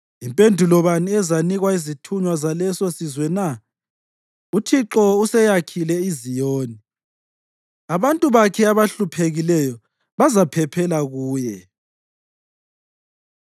Yimpendulo bani ezanikwa izithunywa zalesosizwe na? “ UThixo useyakhile iZiyoni, abantu bakhe abahluphekileyo bazaphephela kuye.”